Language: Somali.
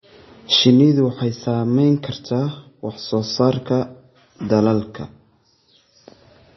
Shinnidu waxay saameyn kartaa wax soo saarka dalagga.